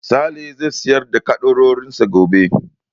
Sale zai sayar da ƙaddarorin sa gobe.